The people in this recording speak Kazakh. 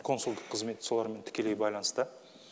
консулдық қызмет солармен тікелей байланыста